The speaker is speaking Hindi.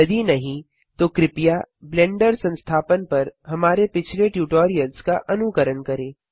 यदि नहीं तो कृपया ब्लेंडर संस्थापन पर हमारे पिछले ट्यूटोरियल्स का अनुकरण करें